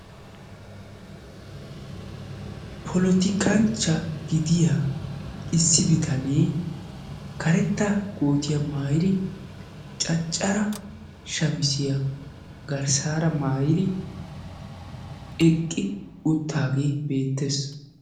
Polotikkanchcha gidiyaa issi bittanne karetta koottiyaa maayidi cacara shamiziyaa garssara maayidi eqi uttaagee beettes.